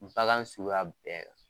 Bagan suguya bɛɛ.